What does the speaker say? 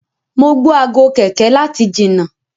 mọ gbó Aago kẹ̀kẹ́ láti jìnà.